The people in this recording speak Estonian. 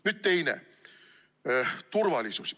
Nüüd teine asi – turvalisus.